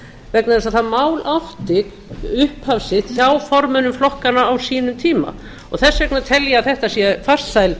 vegna þess að það mál átti upphaf sitt hjá formönnum flokkanna á sínum tíma þess vegna tel ég að þetta sé farsæl